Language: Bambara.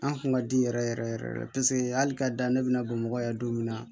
An kun ka di yɛrɛ yɛrɛ yɛrɛ de paseke hali ka dan ne bɛna bamakɔ yan don min na